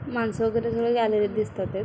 माणस वेगेरे सगळे आलेले दिसतातयत.